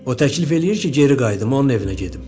O təklif eləyir ki, geri qayıdım, onun evinə gedim.